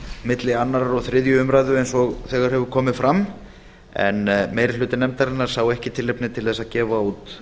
milli annars og þriðju umræðu eins og þegar hefur komið fram en meiri hluti nefndarinnar sá ekki tilefni til þess að gefa út